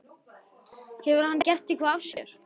Hefur hann gert eitthvað af sér?